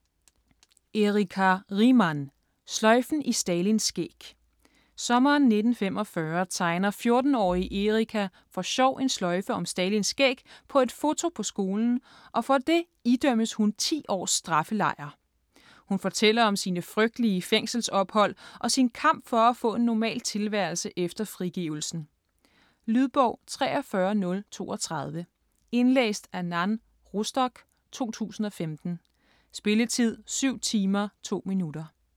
Riemann, Erika: Sløjfen i Stalins skæg Sommeren 1945 tegner 14-årige Erika for sjov en sløjfe om Stalins skæg på et foto på skolen, og for det idømmes hun 10 års straffelejr. Hun fortæller om sine frygtelige fængselsophold og sin kamp for at få en normal tilværelse efter frigivelsen. Lydbog 43032 Indlæst af Nan Rostock, 2015. Spilletid: 7 timer, 2 minutter.